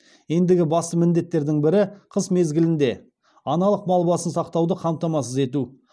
ендігі басты міндеттердің бірі қыс мезгілінде аналық мал басын сақтауды қамтамасыз ету